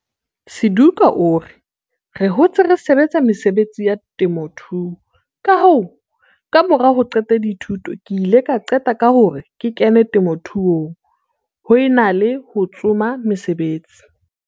Suduka o re, "Re hotse re sebetsa mesebetsi ya temothuo, kahoo, kamora ho qeta dithuto ke ile ka qeta ka hore ke kene temothuong ho e na le ho tsoma mosebetsi."